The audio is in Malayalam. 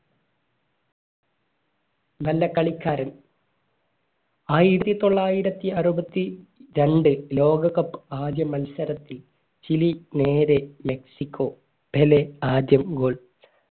നല്ല കളിക്കാരൻ ആയിരത്തിത്തൊള്ളായിരത്തി അറുപത്തിരണ്ട് ലോക cup ആദ്യ മത്സരത്തിൽ ചിലി നേരെ മെക്സിക്കോ പെലെ ആദ്യം goal